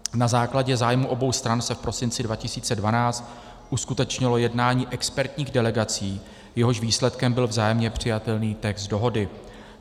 Na základě zájmu obou stran se v prosinci 2012 uskutečnilo jednání expertních delegací, jehož výsledkem byl vzájemně přijatelný text dohody.